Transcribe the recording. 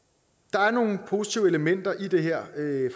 er nogle positive elementer i det her